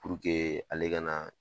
Puruke ale ka na